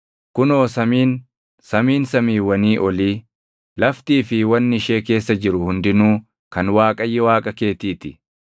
Kunoo samiin, samiin samiiwwanii olii, laftii fi wanni ishee keessa jiru hundinuu kan Waaqayyo Waaqa keetii ti.